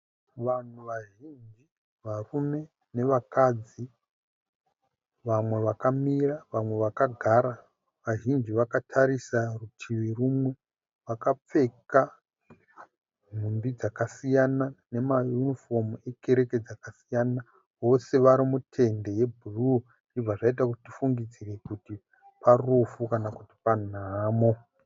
Vanhu vazhinji, varume nevakadzi. Vamwe vakamira vamwe vakagara. Vazhinji vakatarisa rutivi rumwe. Vakapfeka mhumbi dzakasiyana nemayunifomu ekereke dzakasiyana. Vose varimutende rebhuruwu zvibva zvaita kuti tifungidzire kuti parufu kana panhamo.